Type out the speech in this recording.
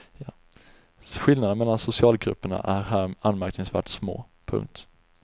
Skillnaderna mellan socialgrupperna är här anmärkningsvärt små. punkt